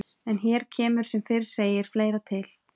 En hér kemur sem fyrr segir fleira til.